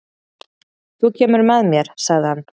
"""Þú kemur með mér, sagði hann."""